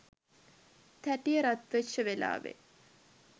තැටිය රත් වෙච්ච වෙලාවේ